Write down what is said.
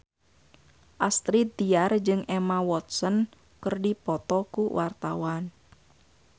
Astrid Tiar jeung Emma Watson keur dipoto ku wartawan